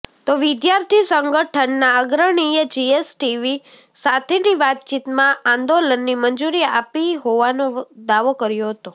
તો વિદ્યાર્થી સંગઠનના અગ્રણીએ જીએસટીવી સાથેની વાતચીતમાં આંદોલનની મંજુરી આપી હોવાનો દાવો કર્યો હતો